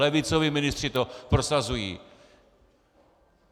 Levicoví ministři to prosazují.